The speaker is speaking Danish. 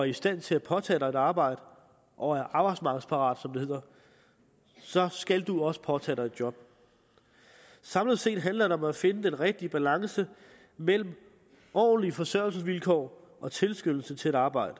i stand til at påtage dig et arbejde og er arbejdsmarkedsparat som det hedder så skal du også påtage dig et job samlet set handler det om at finde den rigtige balance mellem ordentlige forsørgelsesvilkår og tilskyndelse til at arbejde